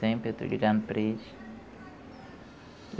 Sempre eu estou ligando para eles.